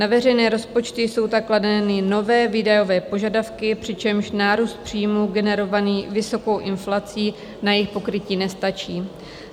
Na veřejné rozpočty jsou tak kladeny nové výdajové požadavky, přičemž nárůst příjmů generovaný vysokou inflací na jejich pokrytí nestačí.